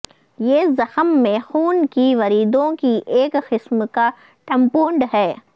یہ زخم میں خون کی وریدوں کی ایک قسم کا ٹمپونڈ ہے